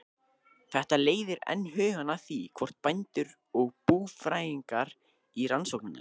Þetta leiðir enn hugann að því, hvort bændur og búfræðingar í rannsóknarnefnd